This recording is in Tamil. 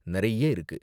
நிறைய இருக்கு.